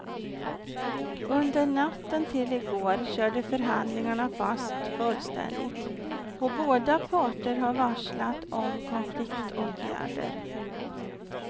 Under natten till i går körde förhandlingarna fast fullständigt och båda parter har varslat om konfliktåtgärder.